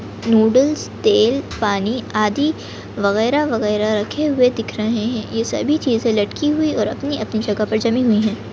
Noodles तेल पानी आदि वगेरा-वगेरा रखे हुए दिख रहे है ये सभी चीजे लटकी हुई और अपनी जगह पे जमी हुई है।